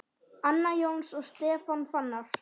Anna Jóns og Stefán Fannar.